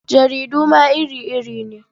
Jaridu ma iri-iri ne.